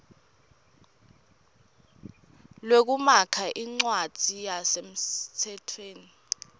lwekumakha incwadzi yasemtsetfweni